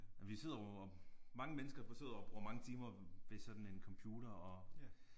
Vi sidder jo og mange mennesker sidder og bruger mange timer ved sådan en computer og